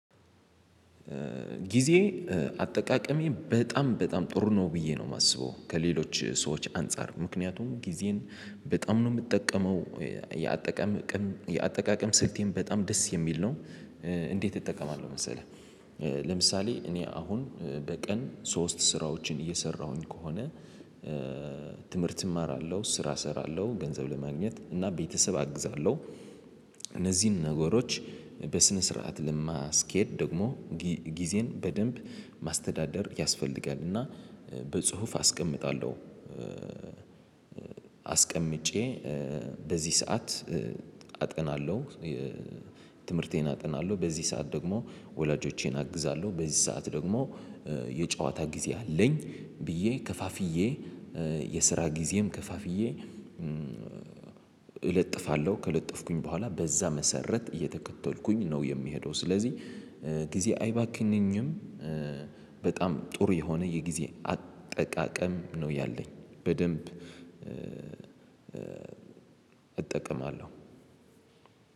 ጊዜ አጠቃቀሜ በጣም በጣም ጥሩ ነው ብዬ ነው ማስበው ከሌሎች ሰዎች አንፃር ምክንያቱም ጊዜን በጣም ነው ምጠቀመው የአጠቃቀም የአጠቃቀም ስልቴን በጣም ደስ የሚል ነው። እንዴት እጠቀማለሁ መሰለህ? ለምሳሌ እኔ አሁን በቀን ሶስት ስራዎችን እየሰራሁኝ ከሆነ ትምህርት እማራለሁ ስራ እሰራለሁ ገንዘብ ለማግኘት እና ቤተሰብ አግዛለሁ። እነዚህን ነገሮች በስነ ስርዓት ለማስኬድ ደግሞ ጊዜን በደንብ ማስተዳደር ያስፈልጋል። እና በጽሁፍ አስቀምጣለሁ። አስቀምጬ በዚህ ሰዓት አጥናለሁ። ትምህርቴን አጥናለሁ በዚህ ሰዓት ደግሞ ወላጆቼን አግዛለሁ በዚህ ሰዓት ደግሞ የጨዋታ ጊዜ አለኝ። ብዬ ከፋፍዬ የስራ ጊዜም ከፋፍዬ እለጥፋለሁ። ከለጠፍኩኝ በኋላ በዛ መሰረት እየተከተልኩኝ ነው የሚሄደው። ስለዚህ ጊዜ አይባክንም። በጣም ጥሩ የሆነ የጊዜ አጠቃቀም ነው ያለኝ በደንብ እጠቀማለሁ።